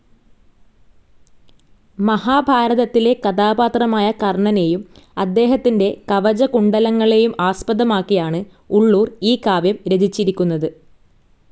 മഹാഭാരതത്തിലെ കഥാപാത്രമായ കർണ്ണനേയും അദ്ദേഹത്തിന്റെ കവചകുണ്ഡലങ്ങളേയും ആസ്പദമാക്കിയാണു് ഉള്ളൂർ ഈ കാവ്യം രചിച്ചിരിക്കുന്നതു്.